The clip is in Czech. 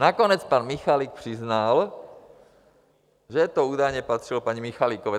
Nakonec pan Michalik přiznal, že to údajně patřilo paní Michalikové.